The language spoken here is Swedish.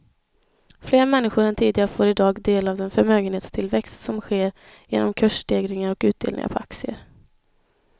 Fler människor än tidigare får i dag del av den förmögenhetstillväxt som sker genom kursstegringar och utdelningar på aktier.